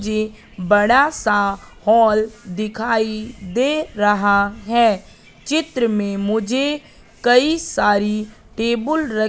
ये बड़ा सा हॉल दिखाई दे रहा है चित्र में मुझे कई सारी टेबुल र--